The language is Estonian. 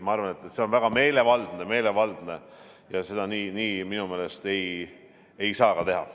Ma arvan, et see on väga meelevaldne ja seda nii minu meelest ei saa ka teha.